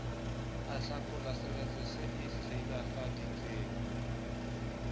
ahlakola seretse se e silafaditseng